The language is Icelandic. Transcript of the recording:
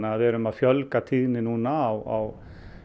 að við erum að fjölga tíðni núna á